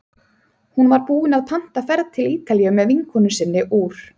Hún var búin að panta ferð til Ítalíu með vinkonu sinni úr